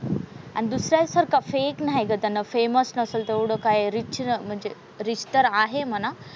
आणि दुसऱ्यासारखं फेक नाही ग त्यानं फेमस नसेल तेवढं काय रिच म्हणजे रिच तर आहे म्हणा.